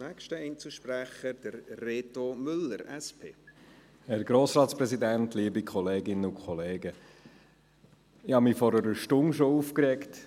Ich habe mich vor einer Stunde hier an diesem Rednerpult schon aufgeregt.